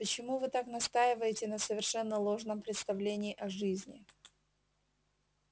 почему вы так настаиваете на совершенно ложном представлении о жизни